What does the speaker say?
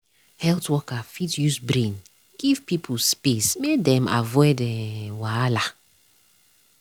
health worker fit use brain give people space make dem avoid um wahala.